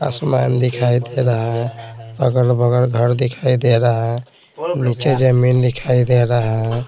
आसमान दिखाई दे रहा है अगल-बगल घर दिखाई दे रहा है नीचे जमीन दिखाई दे रहा है।